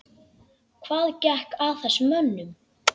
Hvað gekk að þessum mönnum?